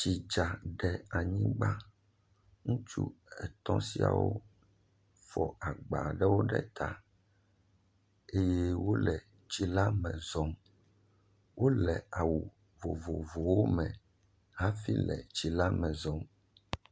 Tsi dza ɖe anyigba, ŋutsu etɔ̃ siawo fɔ agba ɖe ta eye wole tsi la me zɔm, wole awu vovovowo me hãfi le tsi me zɔm.